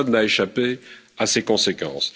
Personne n'a échappé à ses conséquences.